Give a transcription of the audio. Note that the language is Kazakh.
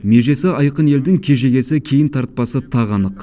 межесі айқын елдің кежегесі кейін тартпасы тағы анық